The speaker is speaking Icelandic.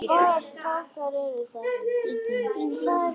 Það var skítt.